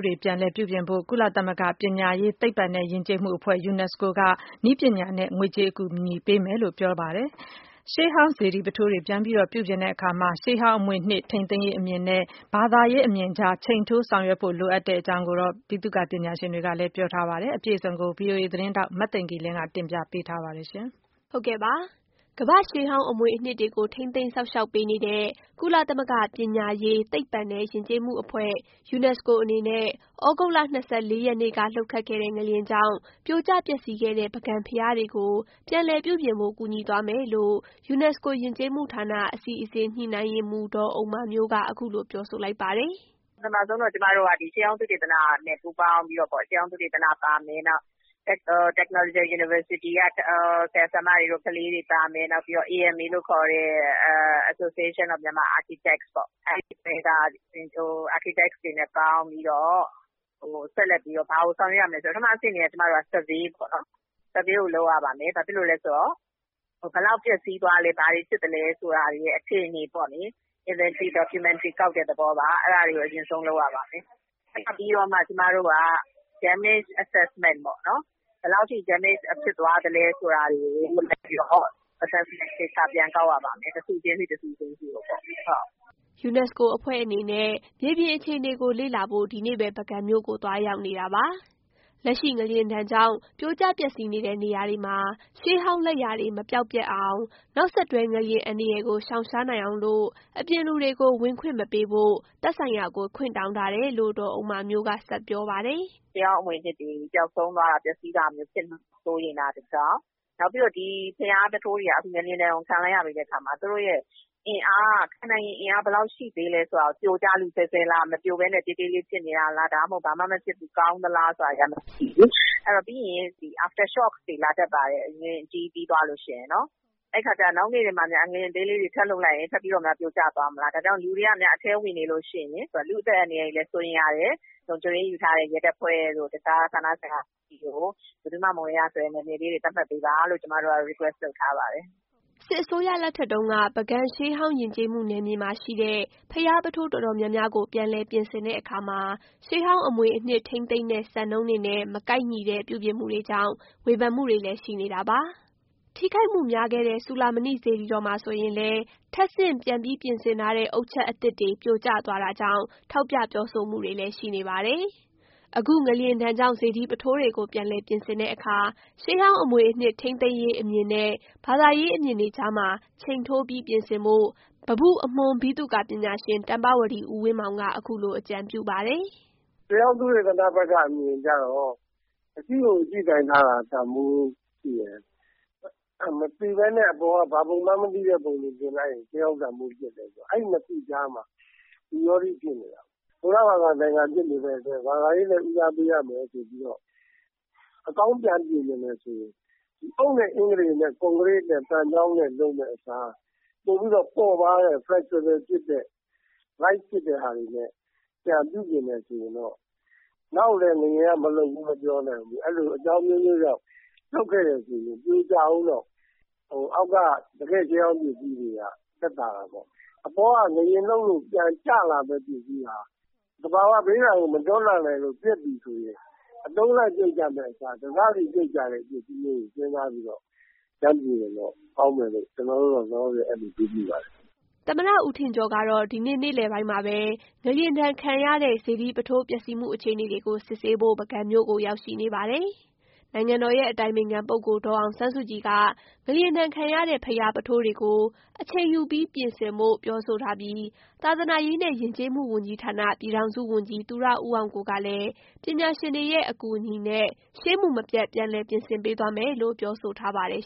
တွေ ပြန်လည်ပြုပြင်ဖို့ ကုလသမဂ္ဂ ပညာရေး၊ သိပ္ပံနဲ့ ယဉ်ကျေးမှုအဖွဲ့ UNESCO က နည်းပညာနဲ့ ငွေကြေးအကူအညီပေးမယ်လို့ ပြော ပါတယ်။ ရှေးဟောင်း စေတီပုထိုးတွေကို ပြန်ပြီး ပြုပြင်တဲ့အခါ ရှေးဟောင်းအမွေအနှစ် ထိန်းသိမ်းရေးအမြင်နဲ့ ဘာသာရေး အမြင်ကြား ချိန်ထိုးဆောင်ရွက်ဖို့ လိုအပ်တယ်လို့ ဗိသုကာပညာရှင်တွေကလည်း ပြောပါတယ်။ အပြည့်အစုံကို ဗွီအိုအေသတင်းထောက် မသိင်္ဂီလင်းက တင်ပြထားပါတယ်။ ကမ္ဘာ့ရှေးဟောင်းအမွေအနှစ်တွေကိုထိန်းသိမ်းစောင့်ရှောက်ပေးနေတဲ့ ကုလသမဂ္ဂ ပညာရေး၊ သိပ္ပံနဲ့ ယဉ်ကျေးမှုအဖွဲ့ UNESCO အေ နနဲ့ သြဂုတ်လ ၂၄ ရက်နေ့က လှုပ်ခတ်ခဲ့တဲ့ ငလျင်ကြောင့် ပြိုကျပျက်စီးခဲ့တဲ့ ပုဂံဘုရားတွေကို ပြန်လည်ပြုပြင်ဖို့ ကူညီသွားမယ်လို့ ယူနက်စကို ယဉ်ကျေးမှုဌာနအစီအစဉ် ညှိနှိုင်းရေးမှူး ဒေါ်ဥမ္မာမျိုး က အခုလိုပြောဆိုလိုက်ပါတယ်။ “ပထမဆုံးတော့ ကျမတို့က ရှေးဟောင်းသုသေတနနဲ့ ပူးပေါင်းပြီးတော့ ရှေးဟောင်း သုသေတန ပါမယ်။ နောက်Technological university က ဆရာဆရာမတွေ ကလေးတွေ ပါမယ်။ AMA လို့ခေါ်တဲ့ Association of Myanmar Architect ပေါ့ အဲဒီက architect တွေနဲ့ပေါင်းပြီးတော့ ဆက်လက်ပြီးတော့ ဘာတွေ ဆောင်ရွက် ရမလဲဆိုတာ ပထမအဆင့်အနေနဲ့ ကျမတို့ survey လုပ်ရပါမယ်။ ဘာဖြစ်လို့လဲ ဆိုတော့ ဘယ်လောက်ပျက်စီးသွားလဲ ၊ ဘာတွေဖြစ်သလဲဆိုတာတွေရဲ့ အခြေအနေပေါ့လေ။ inventory documentary ကောက်တဲ့သဘောပါ။ အဲဒါတွေ ကို အရင်ဆုံးလုပ်ရပါမယ်။ အဲဒါပြီးတော့မှ ကျမတို့က Damage assessment ပေါ့၊ ဘယ်လောက်ထိDamage ဖြစ်သွားသလဲ ဆိုတာတွေကိုလုပ်ပြီးတော့ assessment သေချာပြန်ကောက်ရပါမယ် တခုချင်းစီတခုချင်းစီကိုပေါ့။” ယူနက်စကိုအဖွဲ့အနေနဲ့ မြေပြင်အခြေအနေကိုလေ့လာဖို့ ဒီနေ့ပဲ ပုဂံမြို့ကို သွားရောက်နေတာပါ။ လက်ရှိငလျင်ဒဏ်ကြောင့် ပြိုကျပျက်စီးနေတဲ့ နေရာတွေမှာ ရှေးဟောင်း လက်ရာတွေကို မပျောက်ပျက်အောင်၊ နောက်ဆက်တွဲ ငလျင်အန္တရာယ်ကို ရှောင် ရှားနိုင်အောင်လို့ အပြင်လူတွေကို ဝင်ခွင့်မပေးဖို့ သက်ဆိုင်ရာကို ခွင့်တောင်း ထားတယ်လို့ ဒေါ်ဥမ္မာမျိုးကဆက်ပြောပါတယ်။ “ရှေးဟောင်းအမွေအနှစ်တွေ ပျက်စီးမှာ စိုးရိမ်တာတခု ၊ နောက်ပြီးတော့ ဒီ ဘုရားပုထိုးတွေက ငလျင်ဒဏ်ကို ခံလိုက်ရတဲ့အခါမှာ သူတို့ရဲ့ ခံနိုင်ရည်အင်အားက ဘယ်လောက်အထိရှိသေးလဲဆိုတာကို ပြိုကျလုဆဲဆဲလား၊ မပြိုဘဲနဲ့ တည်း တည်းလေး ဖြစ်နေတာလား၊ ဒါမှမဟုတ် ဘာမှမဖြစ်ဘူး ကောင်းသလား ဆိုတာတွေကို တိုင်းဖို့ရှိတယ်လေ။ ပြီးရင် after shock တွေလာတက်ပါတယ်။ ငလျင် အကြီးပြီးသွားလို့ရှိရင် ငလျင်အသေးလေးတွေ ထပ်လှုပ်လိုက်ရင် ပြိုကျသွား မလား။ ဒါကြောင့် လူတွေက အထဲဝင်နေလို့ရှိရင် လူ့အသတ်အန္တရာယ်လည်း စိုးရိမ်ရတယ် လုံခြုံရေးယူထားတဲ့ ရဲတပ်ဖွဲ့ နဲ့ တခြားဌာနဆိုင်ရာတွေစီကို ဘယ်သူမှ မဝင်ရဆိုတဲ့ နယ်မြေလေးတွေ သတ်မှတ်ပေးပါလို့ ကျမ တို့က request လုပ် ထားပါတယ်။” စစ်အစိုးရလက်ထက်တုန်းကပုဂံရှေးဟောင်းယဉ်ကျေးမှုနယ်မြေမှာရှိတဲ့ ဘုရား ပုထိုး တော်တော် များများကို ပြန်လည်ပြင်ဆင်တဲ့ အခါမှာ ရှေးဟောင်း အမွေအနှစ် ထိန်းသိမ်းတဲ့စံနှုန်းတွေနဲ့ မကိုက်ညီတဲ့ ပြုပြင်မှုတွေကြောင့် ဝေဖန်မှုတွေလည်း ရှိနေတာပါ။ ထိခိုက်မှုများခဲ့တဲ့ စူဠာမဏိစေတီတော်မှာဆိုရင်လည်း ထပ် ဆင့် ပြန်ပြီး ပြင်ဆင်ထားတဲ့ အုတ်ချပ်အသစ်တွေ ပြိုကျသွားတာကြောင့် ထောက်ပြပြောဆိုမှုတွေလည်းရှိနေပါတယ်။ အခုငလျင်ဒဏ်ကြောင့် စေတီပုထိုးတွေကို ပြန်ပြင်တဲ့အခါ ရှေးဟောင်းအမွေအနှစ် ထိန်းသိမ်းရေး အမြင်နဲ့ ဘာသာရေးအမြင်တွေကြားမှာချိန်ထိုးပြီး ပြင်ဆင်ဖို့ ပန်းပုအမွှန်းဗိသုကာပညာရှင် တမ္ပဝတီ ဦးဝင်းမောင်က အခုလို အကြံပြုပါတယ်။ “ရှေးဟောင်း သုသေတနအမြင်ကျတော့ အရှိကိုအရှိအတိုင်းထားတာ တန်ဖိုးရှိ တယ်။ မသိဘဲနဲ့ အပေါ်က ဘာပုံမှန်းမသိတဲ့ ပုံတွေတင်လိုက်ရင် ရှေးဟောင်း တန်ဖိုးပျက်တယ်ဆိုတာ အဲဒီ ၂ ခုကြား မှာ ဝိရောဓိ ဖြစ်နေတာပေါ့။ ဗုဒ္ဓ ဘာသာနိုင်ငံဖြစ်နေတဲ့အတွက် ဘာသာရေးလည်း ဦးစားပေးရမယ် ဆိုတော့ အကောင်းပြန်ပြင်ချင်တယ်ဆိုရင် အုတ်၊ အင်္ဂတေ နဲ့ သံချောင်းနဲ့ ကွန်ကရစ်နဲ့တွေကို သုံးမယ့် အစား ပိုပြီးတော့ ပေါ့ပါးတဲ့ Flexible ဖြစ်တဲ့၊ light ဖြစ်တာတွေ နဲ့ ပြန်ပြီးတော့ ပြုပြင်မယ်ဆိုရင်တော့ နောက်လည်း ငလျင်က မလှုပ်ဘူးလို့ မပြောနိုင်ဘူး။ အကြောင်း အမျိုးမျိုးကြောင့် လှုပ်ခဲ့တယ်ဆိုရင် ပြိုကျဦးတော့ အောက် က တကယ့် ရှေးဟောင်းပစ္စည်းတွေက သက်သာတာပေါ့။ အပေါ်က ငလျင်လှုပ် လို့ ပြန်ကျလာမယ့်ပစ္စည်းဟာ သဘာဝဘေးအန္တရာယ်ကို မတွန်းလှန်နိုင်လို့ ပျက်ပြီဆိုရင် အတုံးလိုက်ပြုတ်ကျမယ့်အစား တစစီပြုတ်ကျတဲ့ ပစ္စည်းမျိုးကို စဉ်းစားပြီးတော့ ကျနော်တို့လောလောဆယ်အဲဒီလိုတွေးမိပါတယ်။” သမ္မတဦးထင်ကျော်ကတော့ ဒီနေ့ နေ့လည်ပိုင်းမှာပဲ ငလျင်ဒဏ်ခံရတဲ့ စေတီ ပုထိုး ပျက်စီးမှု အခြေအနေတွေကိုစစ်ဆေးဖို့ ပုဂံမြို့ကို ရောက်နေပါတယ်။ နိုင်ငံတော် ရဲ့အတိုင်ပင်ခံပုဂ္ဂိိုလ် ဒေါ်အောင်ဆန်းစုကြည်က ငလျင်ဒဏ်ခံရတဲ့ ဘုရားပုထိုးတွေ ကို အချိန်ယူပြီး ပြင်ဆင်ဖို့ ပြောဆိုထားပြီးသာသနာရေးနဲ့ ယဉ်ကျေးမှု ဝန်ကြီးဌာန ပြည်ထောင်စု ဝန်ကြီးသူရဦးအောင်ကိုကလည်း ပညာရှင်တွေရဲ့ အကူအညီနဲ့ ရှေးမူမပျက် ပြန်လည်ပြင်ဆင်ပေးသွားမယ်လို့ ပြောဆိုထားပါတယ်